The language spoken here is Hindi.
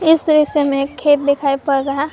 इस दृश्य में एक खेत दिखाई पड़ रहा--